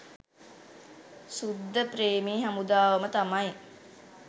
සුද්දප්‍රේමී හමුදාවම තමයි.